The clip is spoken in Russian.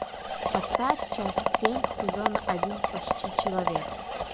поставь часть семь сезона один почти человек